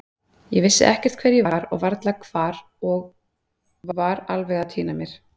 Ég vissi ekkert hver ég var og varla hvar og var alveg að týna mér.